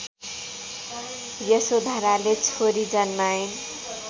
यशोधराले छोरी जन्माइन्